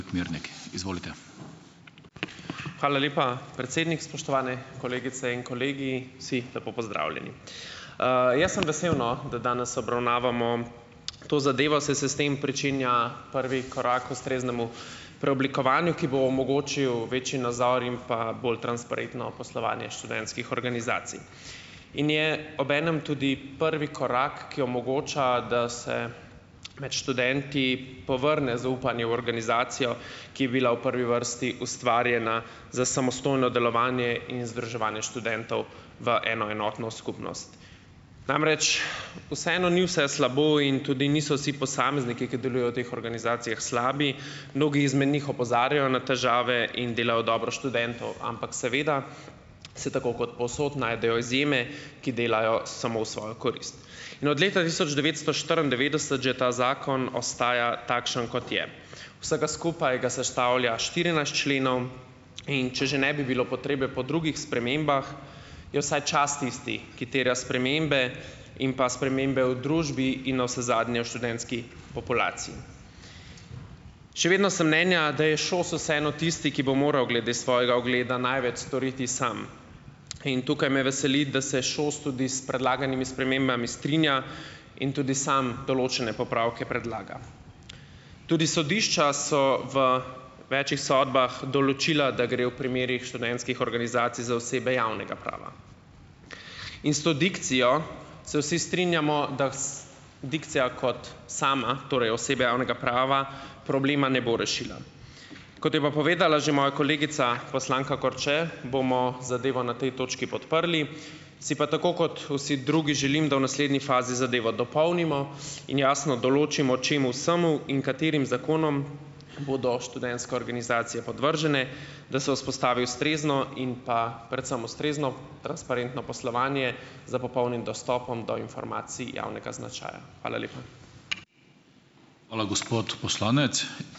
Hvala lepa, predsednik! Spoštovane kolegice in kolegi, vsi lepo pozdravljeni! Jaz sem vesel, no, da danes obravnavamo, to zadevo, saj se s tem pričenja prvi korak k ustreznemu preoblikovanju, ki bo omogočil večji nazor in pa bolj transparentno poslovanje študentskih organizacij in je obenem tudi prvi korak, ki omogoča, da se, med študenti povrne zaupanje v organizacijo, ki je bila v prvi vrsti ustvarjena za samostojno delovanje in združevanje študentov v eno enotno skupnost. Namreč, vseeno ni vse slabo in tudi niso vsi posamezniki, ki delujejo v teh organizacijah, slabi. Mnogi izmed njih opozarjajo na težave in delajo v dobro študentov, ampak seveda, se tako kot povsod najdejo izjeme, ki delajo samo v svojo korist. In od leta tisoč devetsto štiriindevetdeset že ta zakon ostaja takšen, kot je. Vsega skupaj ga sestavlja štirinajst členov, in če že ne bi bilo potrebe po drugih spremembah, je vsaj čas tisti, ki terja spremembe in pa spremembe v družbi, in navsezadnje, v študentski populaciji. Še vedno sem mnenja, da je ŠOS vseeno tisti, ki bo moral glede svojega ugleda največ storiti sam, in tukaj me veseli, da se ŠOS tudi s predlaganimi spremembami strinja in tudi sam določene popravke predlaga. Tudi sodišča so v večih sodbah določila, da gre v primerih študentskih organizacij za osebe javnega prava in s to dikcijo se vsi strinjamo, da dikcija kot sama, torej osebe javnega prava, problema ne bo rešila. Kot je pa povedala že moja kolegica, poslanka Korče, bomo zadevo na tej točki podprli, si pa tako kot vsi drugi želim, da v naslednji fazi zadevo dopolnimo in jasno določimo, čemu vsemu in katerim zakonom bodo študentske organizacije podvržene, da se vzpostavi ustrezno in pa predvsem ustrezno, transparentno poslovanje s popolnim dostopom do informacij javnega značaja. Hvala lepa!